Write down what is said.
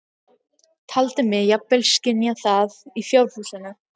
Taldi mig jafnvel skynja það í fjárhúsinu.